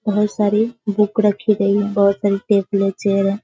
बहुत सारी बुक रखे गई हैं। बहुत सारी टेबल और चेयर है।